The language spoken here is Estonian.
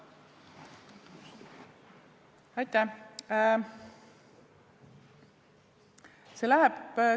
Aitäh!